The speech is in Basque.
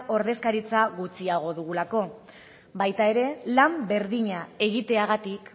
ordezkaritza gutxiago dugulako baita ere lan berdina egiteagatik